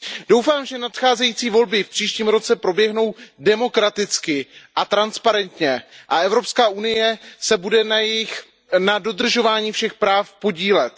Doufám, že nadcházející volby v příštím roce proběhnou demokraticky a transparentně a Evropská unie se bude na dodržování všech práv podílet.